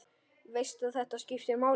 Veist að þetta skiptir máli.